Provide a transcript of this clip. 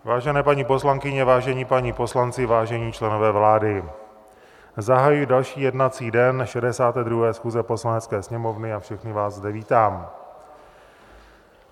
Vážené paní poslankyně, vážení páni poslanci, vážení členové vlády, zahajuji další jednací den 62. schůze Poslanecké sněmovny a všechny vás zde vítám.